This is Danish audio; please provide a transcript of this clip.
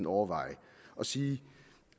overveje at sige